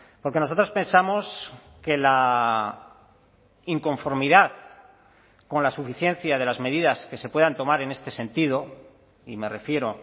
porque nosotros pensamos que la inconformidad con la suficiencia de las medidas que se puedan tomar en este sentido y me refiero